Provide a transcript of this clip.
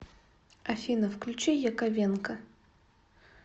афина включи яковенко